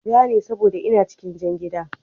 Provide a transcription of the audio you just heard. Ja ne saboda ina cikin jan gida